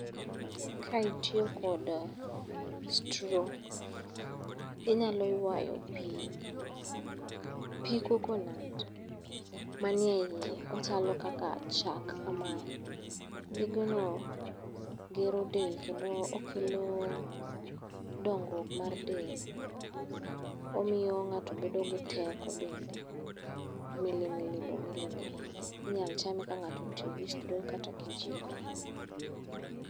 Kae nitie kod straw, inyalo ywayo pi, pi coconut manie iye. Ochalo kaka chak kamae, pigno gero del kendo okelo dongruok mar del. Omiyo ng'ato bedo gi teko bende. Milimili bomilimili, inyal chalme ka ng'ato otiyo kod straw kata kijiko.